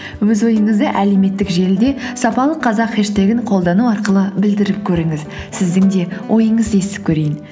өз ойыңызды әлеуметтік желіде сапалы қазақ хеш тэгін қолдану арқылы білдіріп көріңіз сіздің де ойыңызды естіп көрейін